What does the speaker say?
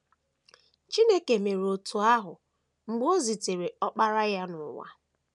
Chineke mere otú ahụ mgbe o zitere Ọkpara ya n’ụwa.